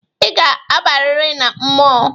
Ị ga-abarịrị na mmọnwụ.